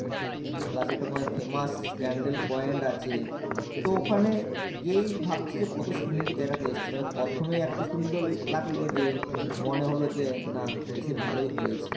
plus ওকে মাঝে famous candle point আছে। তো ওখানে গিয়ে ভাবছি যে কত সুন্দর জায়গাতে এসেছি, মানে প্রথমে এতো সুন্দর লে~ লাগলো যে মনে হল যে না এসে ভালোই হয়েছে।